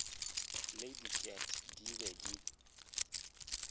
le diket ke be ke